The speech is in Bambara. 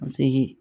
Paseke